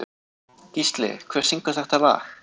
Gísli, hver syngur þetta lag?